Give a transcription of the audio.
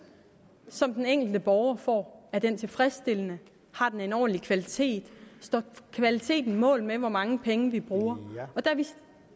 som den enkelte borger får er den tilfredsstillende har den en ordentlig kvalitet står kvaliteten mål med hvor mange penge vi bruger